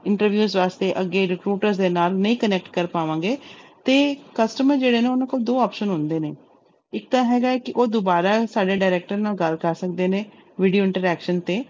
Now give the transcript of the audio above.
Interviews ਵਾਸਤੇ ਅੱਗੇ recruiter ਦੇ ਨਾਲ ਨਹੀਂ connect ਕਰ ਪਾਵਾਂਗੇ ਤੇ customer ਜਿਹੜੇ ਨੇ ਉਹਨਾਂ ਕੋਲ ਦੋ option ਹੁੰਦੇ ਨੇ ਇੱਕ ਤਾਂ ਹੈਗਾ ਹੈ ਕਿ ਉਹ ਦੁਬਾਰਾ ਸਾਡੇ director ਨਾਲ ਗੱਲ ਕਰ ਸਕਦੇ ਨੇ video interaction ਤੇ